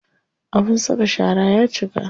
Abin saka shara ya cika.